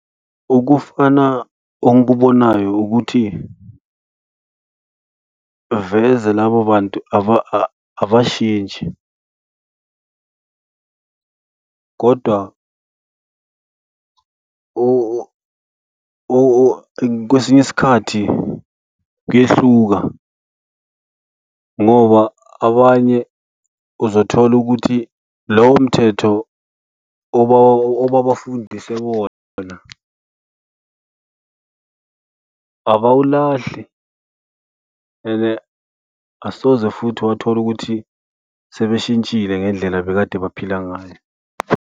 Okufana ongikubonayo ukuthi veze labo bantu abashintshi kodwa kwesinye isikhathi kuyehluka ngoba abanye uzothola ukuthi lowomthetho obabafundiswe bona abawalahli and asoze futhi wathola ukuthi sebeshintshile ngendlela ebekade baphila ngayo.